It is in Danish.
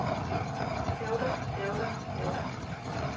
hævder hævder hævder